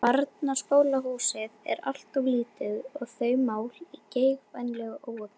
Barnaskólahúsið er alltof lítið og þau mál í geigvænlegu óefni.